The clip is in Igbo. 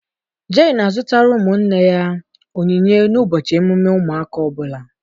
Jerry na-azụtara ụmụnne ya onyinye n'ụbọchị emume ụmụaka ọbula.